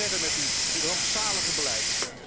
U gaat gewoon verder met uw rampzalige beleid.